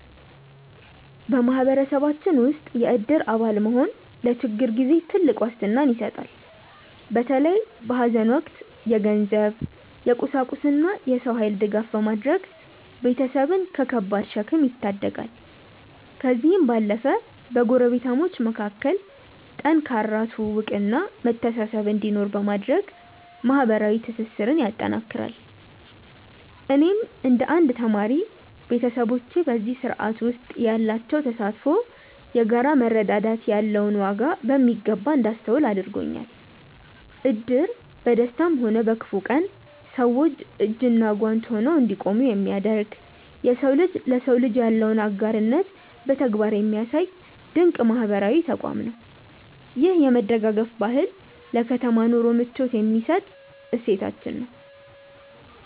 በማህበረሰባችን ውስጥ የእድር አባል መሆን ለችግር ጊዜ ትልቅ ዋስትና ይሰጣል። በተለይ በሐዘን ወቅት የገንዘብ፣ የቁሳቁስና የሰው ኃይል ድጋፍ በማድረግ ቤተሰብን ከከባድ ሸክም ይታደጋል። ከዚህም ባለፈ በጎረቤታሞች መካከል ጠንካራ ትውውቅና መተሳሰብ እንዲኖር በማድረግ ማህበራዊ ትስስርን ያጠናክራል። እኔም እንደ አንድ ተማሪ፣ ቤተሰቦቼ በዚህ ስርዓት ውስጥ ያላቸው ተሳትፎ የጋራ መረዳዳት ያለውን ዋጋ በሚገባ እንዳስተውል አድርጎኛል። እድር በደስታም ሆነ በክፉ ቀን ሰዎች እጅና ጓንት ሆነው እንዲቆሙ የሚያደርግ፣ የሰው ልጅ ለሰው ልጅ ያለውን አጋርነት በተግባር የሚያሳይ ድንቅ ማህበራዊ ተቋም ነው። ይህ የመደጋገፍ ባህል ለከተማ ኑሮ ምቾት የሚሰጥ እሴታችን ነው።